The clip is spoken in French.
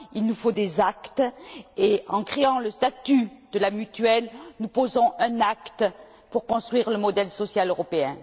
Il nous faut des actes, et en créant le statut de la mutuelle, nous posons un acte pour construire le modèle social européen.